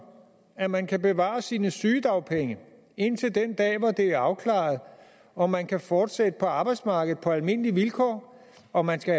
at man kan bevare sine sygedagpenge indtil den dag hvor det er afklaret om man kan fortsætte på arbejdsmarkedet på almindelige vilkår om man skal